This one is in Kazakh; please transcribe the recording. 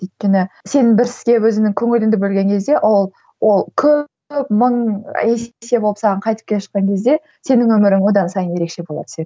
өйткені сен бір іске өзіңнің көңіліңді бөлген кезде ол ол көп мың есе болып саған қайтып келіп жатқан кезде сенің өмірің одан сайын ерекше бола түседі